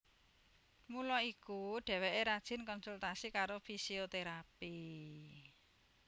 Mula iku dheweké rajin konsultasi karo fisioterapi